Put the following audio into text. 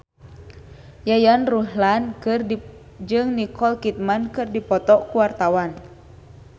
Yayan Ruhlan jeung Nicole Kidman keur dipoto ku wartawan